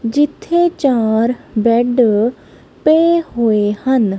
ਜਿੱਥੇ ਚਾਰ ਬੈਡ ਪਏ ਹੋਏ ਹਨ।